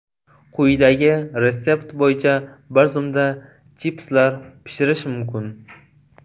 Quyidagi retsept bo‘yicha bir zumda chipslar pishirish mumkin.